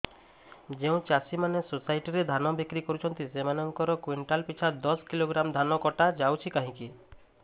ଯେଉଁ ଚାଷୀ ମାନେ ସୋସାଇଟି ରେ ଧାନ ବିକ୍ରି କରୁଛନ୍ତି ସେମାନଙ୍କର କୁଇଣ୍ଟାଲ ପିଛା ଦଶ କିଲୋଗ୍ରାମ ଧାନ କଟା ଯାଉଛି କାହିଁକି